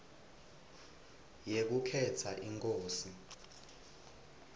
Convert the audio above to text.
yekukhetsa inkosi